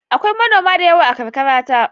Akwai manoma da yawa a karkarata.